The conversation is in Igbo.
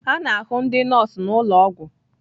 A na-ahụ ndị nọọsụ n'ụlọ ọgwụ